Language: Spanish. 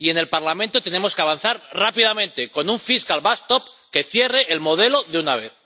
Y en el Parlamento tenemos que avanzar rápidamente, con un fiscal backstop que cierre el modelo de una vez.